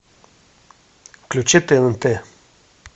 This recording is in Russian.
включи тнт